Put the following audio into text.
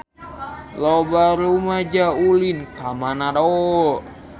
Loba rumaja ulin ka Manado